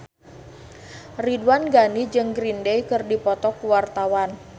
Ridwan Ghani jeung Green Day keur dipoto ku wartawan